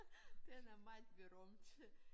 Den er meget berømt